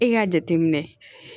E k'a jateminɛ